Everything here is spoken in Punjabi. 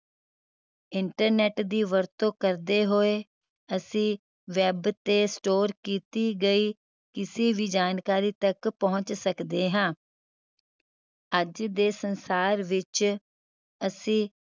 internet ਦੀ ਵਰਤੋਂ ਕਰਦੇ ਹੋਏ ਅਸੀਂ web ਤੇ store ਕੀਤੀ ਗਈ ਕਿਸੀ ਵੀ ਜਾਣਕਾਰੀ ਤਕ ਪਹੁੰਚ ਸਕਦੇ ਹਾਂ ਅੱਜ ਦੇ ਸੰਸਾਰ ਵਿਚ ਅਸੀਂ